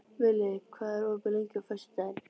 Villi, hvað er opið lengi á föstudaginn?